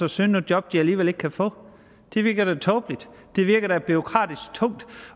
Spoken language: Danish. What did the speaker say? at søge nogle job de alligevel ikke kan få det virker da tåbeligt det virker da bureaukratisk tungt